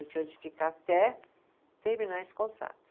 Eu tinha que ficar até terminar esse contrato.